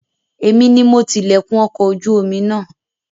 Èmi ni mo ti lẹ̀kùn ọkọ̀ ojú omi náà